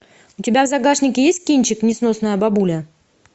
у тебя в загашнике есть кинчик несносная бабуля